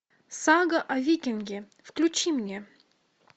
сага о викинге включи мне